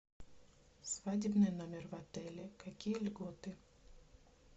свадебный номер в отеле какие льготы